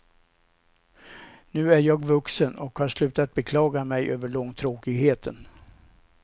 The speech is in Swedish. Nu är jag vuxen och har slutat beklaga mig över långtråkigheten.